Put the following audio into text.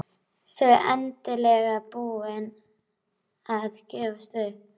Þau endanlega búin að gefast upp.